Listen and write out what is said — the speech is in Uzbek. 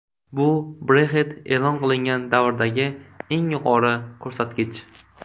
Bu Brexit e’lon qilingan davrdagi eng yuqori ko‘rsatkich.